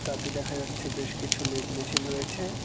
তাতে দেখা যাচ্ছে বেশ কিছু লেদ মেশিন রয়েছে।